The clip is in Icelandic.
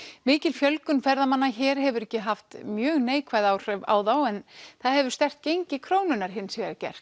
mikil fjölgun ferðamanna hér hefur ekki haft mjög neikvæð áhrif á þá en það hefur sterkt gengi krónunnar hins vegar gert